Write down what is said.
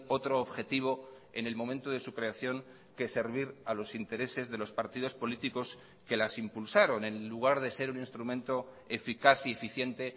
otro objetivo en el momento de su creación que servir a los intereses de los partidos políticos que las impulsaron en lugar de ser un instrumento eficaz y eficiente